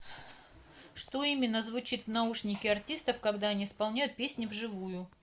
что именно звучит в наушнике артистов когда они исполняют песни вживую